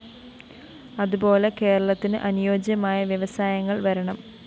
അതുപോെല കേരളത്തിന് അനുയോജ്യമായ വ്യവസായങ്ങള്‍ വരണം